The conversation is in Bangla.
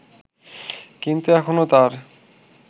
কিন্তু এখনো তার